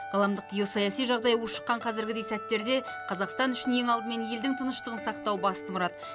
ғаламдық геосаяси жағдай ушыққан қазіргідей сәттерде қазақстан үшін ең алдымен елдің тыныштығын сақтау басты мұрат